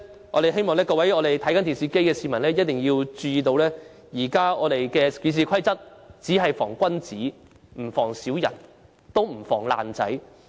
我們希望各位正在觀看電視直播的市民注意，現時的《議事規則》只能防君子，不能防小人，亦不能防"爛仔"。